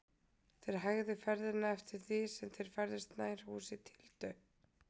Þeir hægðu ferðina eftir því sem þeir færðust nær húsi Tildu.